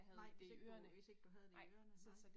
Nej, hvis ikke du hvis ikke du havde det i ørene, nej